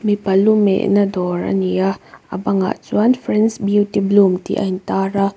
mipa lu mehna dawr a ni a a bangah chuan friends beauty bloom tih a intar a.